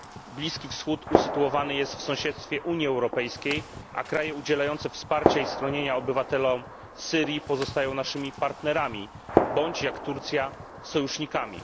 Bliski Wschód usytuowany jest w sąsiedztwie Unii Europejskiej, a kraje udzielające wsparcia i schronienia obywatelom Syrii pozostają naszymi partnerami bądź, jak Turcja, sojusznikami.